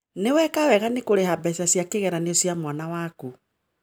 Ni weka wega ni kuriha mbeca cia kigerio cia mwana waku